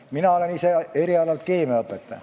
Mina olen erialalt keemiaõpetaja.